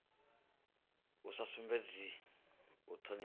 a sa sumbedzi u thonifha